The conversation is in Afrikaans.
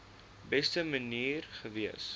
beste manier gewees